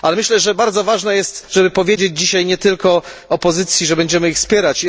Myślę, że bardzo ważne jest, żeby powiedzieć dzisiaj nie tylko opozycji, że będziemy ją wspierać.